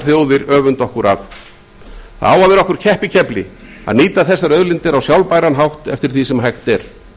þjóðir öfunda okkur af það á að vera okkur keppikefli að nýta þessar auðlindir á sjálfbæran hátt eftir því sem hægt er